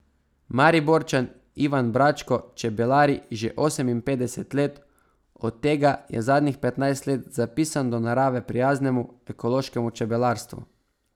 Mariborčan Ivan Bračko čebelari že oseminpetdeset let, od tega je zadnjih petnajst let zapisan do narave prijaznemu, ekološkemu čebelarstvu.